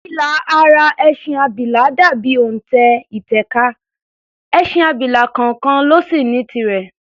Ilà ara ẹṣin abilà dà bí òntẹ̀ ìtẹ̀ka, ẹṣin abilà kọọkàn ló sì ní tirẹ̀.